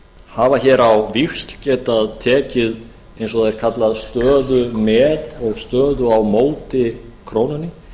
hafa hér á víxl getað tekið eins og það er kallað stöðu með og stöðu á móti krónunni